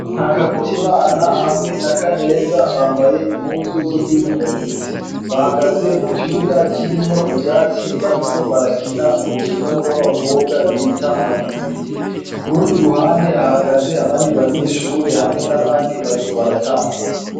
Nta karuta imana hamwe na kaneza bambaye impuzu zo kuinonora imitsi bahagaze mu kibuga kirimwo ivyatsi bariko barakina umukino w'abakobwa bita mabigi ibigi, ku rundi ruhande ahagaze abandi banyeshure hamwe n'abandi bariko baratambuka.